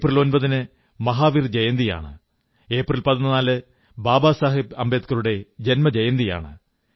April 9 ന് മഹാവീർ ജയന്തിയാണ് April 14 Baba Saheb അംബേദ്കറുടെ ജന്മജയന്തിയാണ്